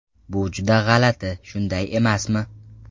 Bu juda g‘alati, shunday emasmi?